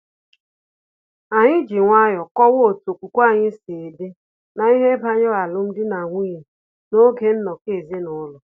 Anyị ji nwayọọ kọwara ha otu okwukwe anyị si dị na-ihe banyere alum dị na nwunye na-oge nnọkọ ezinaụlọ